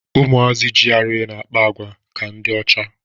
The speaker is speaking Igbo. Ụmụazi GRA na-akpa àgwà ka ndị ocha